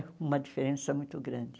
É uma diferença muito grande.